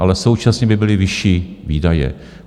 Ale současně by byly vyšší výdaje.